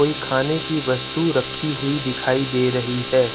कोई खाने की वस्तु रखी हुई दिखाई दे रही है।